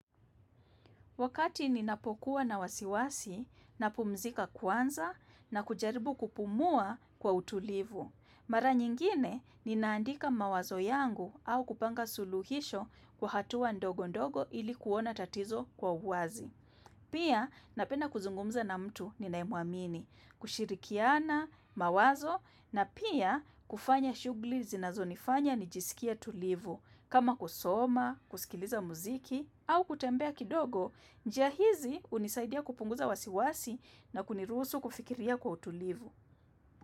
Wakati ninapokuwa na wasiwasi, napumzika kwanza na kujaribu kupumua kwa utulivu. Mara nyingine, ninaandika mawazo yangu au kupanga suluhisho kwa hatua ndogondogo ili kuona tatizo kwa uwazi. Pia, napenda kuzungumza na mtu ninayemuamini, kushirikiana mawazo na pia kufanya shughulli zinazonifanya nijisikie tulivu. Kama kusoma, kusikiliza muziki au kutembea kidogo, njia hizi unisaidia kupunguza wasiwasi na kuniruhusu kufikiria kwa utulivu.